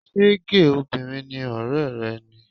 Ṣé géè obìnrin ni ọ̀rẹ́ rẹ ni?